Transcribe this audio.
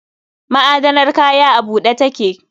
Ma'adanar kaya a bude take